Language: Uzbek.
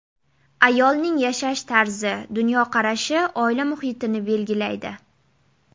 Ayolning yashash tarzi, dunyoqarashi oila muhitini belgilaydi.